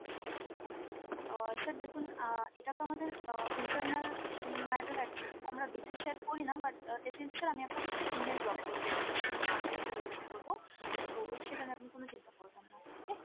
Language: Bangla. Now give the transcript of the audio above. আহ sir দেখুন আহ এটা তো আমাদের আহ internal matter actually, তো আমরা details share করি না but definitely sir আমি আপনাকে একটা email drop করে দেবো যখন আমি complain টা raise করবো, তো সেটা নিয়ে আপনি কোনো চিন্তা করবেন না okay।